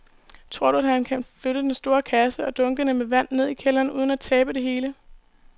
Tror du, at han kan flytte den store kasse og dunkene med vand ned i kælderen uden at tabe det hele?